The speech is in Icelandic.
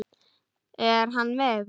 Er hann með ykkur?